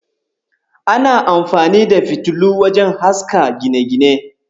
Ana amfani da fitilu wajen haska gine-gine.